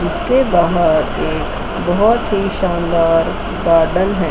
इसके बाहर बहोत एक बहोत ही शानदार गार्डन है।